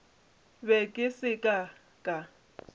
be ke se ka ka